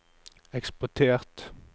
eksportert